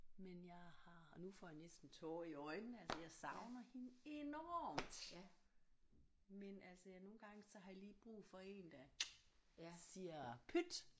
Men jeg har nu får jeg næsten tårer i øjnene altså jeg savner hende enormt men altså ja nogle gange så har jeg lige brug for én der siger pyt